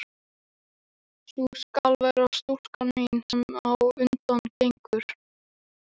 Sú skal vera stúlkan mín, sem á undan gengur.